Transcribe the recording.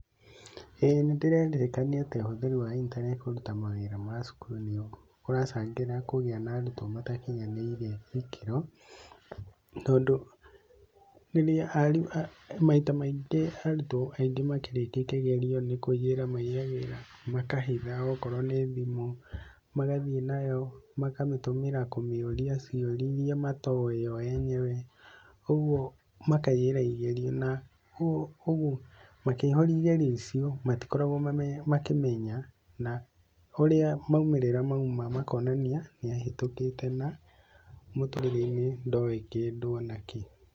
ĩĩ nĩndĩretĩkania atĩ ũhũthĩri wa intaneti kũruta mawĩra ma cukuru nĩ kũracangĩra kũgĩa na arutwo matakinyanĩire ikĩro, tondũ rĩrĩa, maita maingĩ arutwo aingĩ makĩrĩkia kĩgerio nĩ kũiyĩra maiyagĩra, makahitha okorwo nĩ thimũ, magathiĩ nayo, makamĩtũmĩra kũmĩũria ciũria iria matoe o enyewe, ũguo makaiyĩra igerio, na ũguo makĩheo igerio icio matikoragwo makĩmenya na ũrĩa maumĩrĩra mauma makonania nĩ ahĩtũkĩte na mũtũrĩre-inĩ ndoĩ kĩndũ o na kĩ.